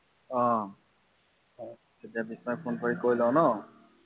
অ তেতিয়া বিস্ময়ক ফোন কৰি কৈ লওঁ ন